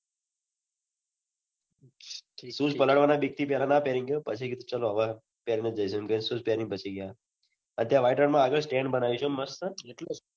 shoes પલળવાના બીકથી પહલા ના પેહરીને ગયો પછી ચલો હવે shoes પહેરીને ફસી ગયા અને ત્યાં white રણ મ આગળ stand બનાવ્યું છે મસ્ત